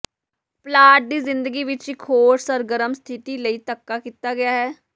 plot ਦੀ ਜ਼ਿੰਦਗੀ ਵਿਚ ਇਕ ਹੋਰ ਸਰਗਰਮ ਸਥਿਤੀ ਲਈ ਧੱਕਾ ਕੀਤਾ ਗਿਆ ਹੈ